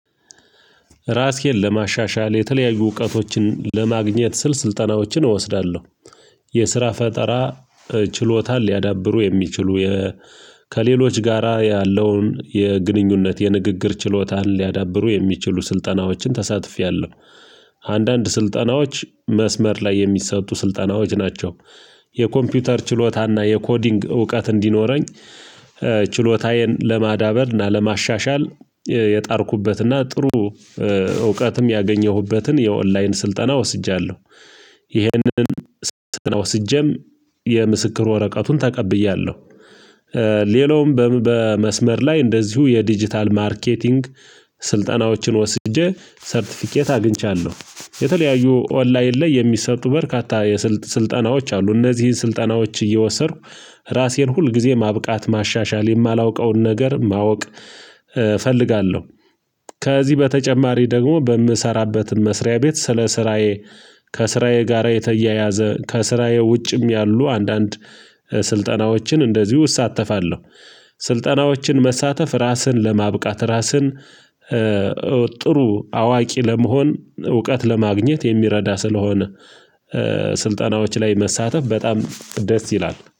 ራሴን ለማሻሻል የተለያዩ እውቀቶችን ለማግኘት ስል ስልጠናዎችን እወስዳለሁ። የስራ ፈጠራ ችሎታን ሊያዳብሩ የሚችሉ ከሌሎች ጋራ ያለውን የግንኙነት የንግግር ችሎታን ሊያዳብሩ የሚችሉ ስልጠናዎችን ተሳትፌያለሁ። አንዳንድ ስልጠናዎች መስመር ላይ የሚሰጡ ስልጠናዎች ናቸው። የኮምፒውተር ችሎታና የኮዲንግ እውቀት እንዲኖረኝ ችሎታዬን ለማዳበር እና ለማሻሻል የጣርኩበት እና ጥሩ እውቀትም ያገኘሁበትን የኦንላይን ስልጠና ወስጃለሁ። ይህንን ስልጠና ወስጄም የምስክር ወረቀቱን ተቀብያለሁ። ሌላውም በመስመር ላይ እንደዚሁ የዲጂታል ማርኬቲንግ ስልጠናዎችን ወስጄ ሰርቲፊኬት አግኝቻለሁ። የተለያዩ ኦንላይን ላይ የሚሰጡ በርካታ የ ስልጠናዎች አሉ። እነዚህን ስልጠናዎች እየወሰድኩ ራሴን ሁል ጊዜ ማብቃት ማሻሻል የማላውቀውን ነገር ማወቅ እፈልጋለሁ። ከዚህ በተጨማሪ ደግሞ በምሰራበትም መስሪያ ቤት ስለ ስራዬ ከስራዬ ጋራ የተያያዘ ከስራዬ ውጭም ያሉ አንዳንድ ስልጠናዎችን እንደዚሁ እሳተፋለሁ። ስልጠናዎችን መሳተፍ ራስን ለማብቃት ራስን ጥሩ አዋቂ ለመሆን እውቀት ለማግኘት የሚረዳ ስለሆነ ስልጠናዎች ላይ መሳተፍ በጣም ደስ ይላል